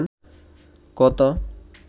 কত